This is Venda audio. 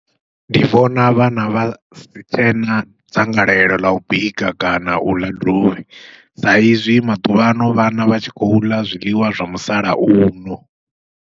Ndi vhona vhana vha sitshena dzangalelo ḽau bika kana uḽa dovhi, sa izwi maḓuvhaano vhana vha tshi khou ḽa zwiḽiwa zwa musalauno.